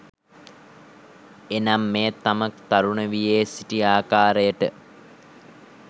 එනම් මෙය තම තරුණ වියේ සිටි ආකාරයට